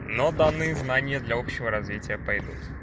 но данные знания для общего развития пойдут